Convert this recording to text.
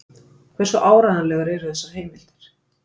Hversu áreiðanlegar eru þessar heimildir?